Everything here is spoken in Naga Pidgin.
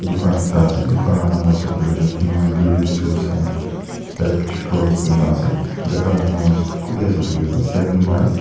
dukan ekta ase dukan la namase koilae tu himgiri tools and electrical kuina ase jaka la nam kutae ase koilae tu seven mile .